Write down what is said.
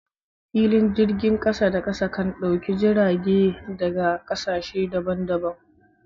Filin jirgin kasa da kasa kan dauki jirage daga kasashe daban daban.